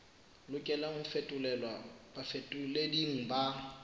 lokelang ho fetolelwa bafetoleding ba